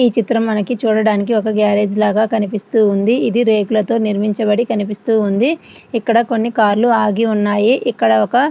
ఈ చిత్రం మనకి చూడడానికి ఒక గ్యారేజ్ లాగా కనిపిస్తూ ఉంది. ఇది రేకులతో నిర్మించబడి కనిపిస్తూ ఉంది. ఇక్కడ కొన్ని కార్ లు ఆగి ఉన్నాయి. ఇక్కడ కొన్ని--